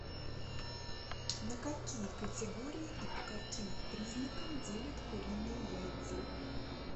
на какие категории и по каким признакам делят куриные яйца